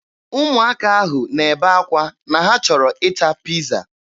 Ụmụaka ahụ na-ebe akwa na ha chọrọ ịta piiza.